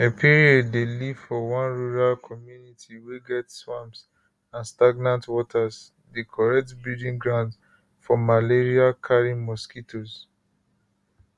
epiere dey live for one rural community wey get swamps and stagnant waters di correct breeding grounds for malariacarrying mosquitoes